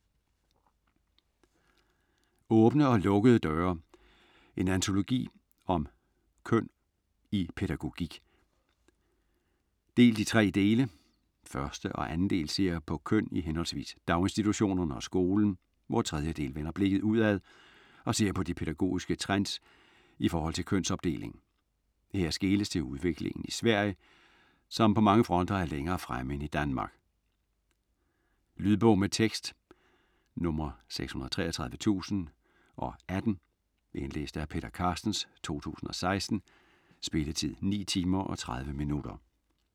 Åbne og lukkede døre: en antologi om køn i pædagogik Delt i tre dele: Første og anden del ser på køn i hhv. daginstitutionerne og skolen, hvor tredje del vender blikket udad og ser på de pædagogiske trends ift. kønsopdeling. Her skeles til udviklingen i Sverige, som på mange fronter er længere fremme end i Danmark. Lydbog med tekst 633018 Indlæst af Peter Carstens, 2016. Spilletid: 9 timer, 30 minutter.